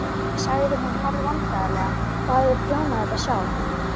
sagði hún hálfvandræðaleg, og hafði prjónað þetta sjálf.